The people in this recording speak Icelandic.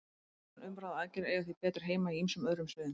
Umhugsun, umræða og aðgerðir eiga því betur heima á ýmsum öðrum sviðum.